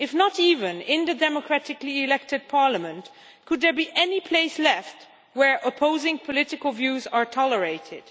If not even in the democratically elected parliament, can there be any place left where opposing political views are tolerated?